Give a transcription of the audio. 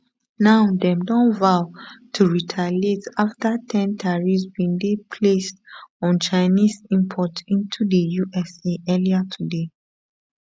now dem don vow to retaliate after ten tariffs bin dey placed on chinese imports into di us earlier today